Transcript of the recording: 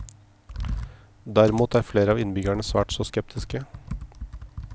Derimot er flere av innbyggerne svært så skeptiske.